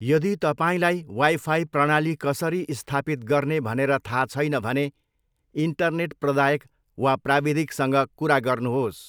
यदि तपाईँलाई वाइफाई प्रणाली कसरी स्थापित गर्ने भनेर थाहा छैन भने इन्टरनेट प्रदायक वा प्राविधिकसँग कुरा गर्नुहोस्।